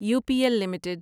you P L limited